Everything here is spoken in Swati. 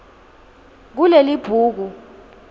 kulelibhuku